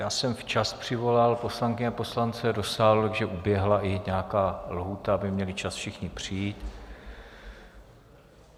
Já jsem včas přivolal poslankyně a poslance do sálu, takže uběhla i nějaká lhůta, aby měli čas všichni přijít.